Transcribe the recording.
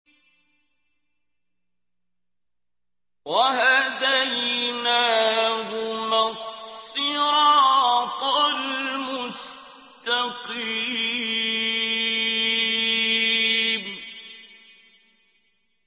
وَهَدَيْنَاهُمَا الصِّرَاطَ الْمُسْتَقِيمَ